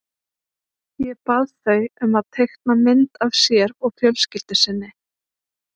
Ég bað þau um að teikna mynd af sér og fjölskyldu sinni.